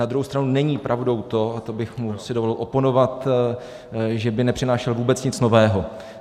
Na druhou stranu není pravdou to, a to bych si mu dovolil oponovat, že by nepřinášel vůbec nic nového.